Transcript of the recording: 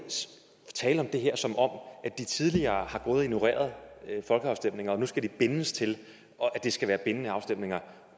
tale om det her som om de tidligere har ignoreret folkeafstemninger og nu skal de bindes til at det skal være bindende afstemninger